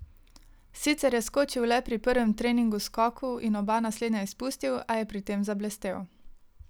Sicer je skočil le pri prvem trening skoku in oba naslednja izpustil, a je pri tem zablestel.